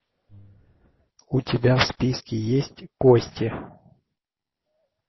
у тебя в списке есть кости